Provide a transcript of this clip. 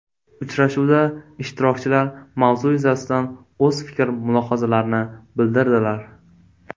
Uchrashuvda ishtirokchilar mavzu yuzasidan o‘z fikr-mulohazalarini bildirdilar.